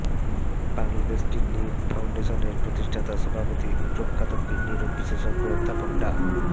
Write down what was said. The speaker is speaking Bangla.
বাংলাদেশ কিডনি ফাউন্ডেশনের প্রতিষ্ঠাতা সভাপতি প্রখ্যাত কিডনি রোগ বিশেষজ্ঞ অধ্যাপক ডা